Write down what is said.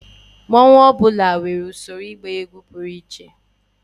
mmanwu ọ bụla nwere usoro ịgba egwu pụrụ iche